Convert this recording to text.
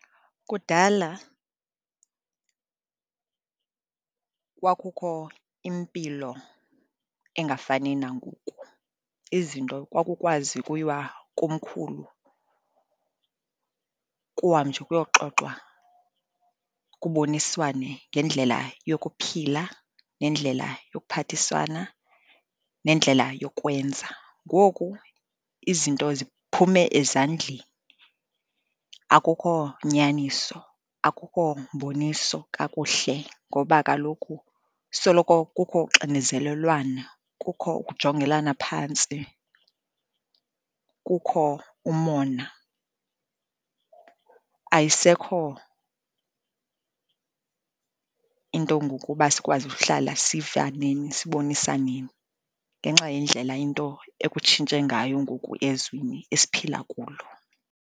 Kudala kwakukho impilo engafani nangoku. Izinto kwakukwazi ukuyiwa komkhulu kuhanjwe kuyoxoxwa, kuboniswane ngendlela yokuphila nendlela yokuphathiswana, nendlela yokwenza. Ngoku izinto ziphume ezandleni, akukho nyaniso, akukho mboniso kakuhle, ngoba kaloku soloko kukho uxinezelelwano, kukho ukujongelana phantsi, kukho umona. Ayisekho into ngoku uba sikwazi uhlala sivaneni, sibonisaneni, ngenxa yendlela into ekutshintshe ngayo ngoku ezweni esiphila kulo.